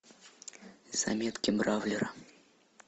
заметки бравлера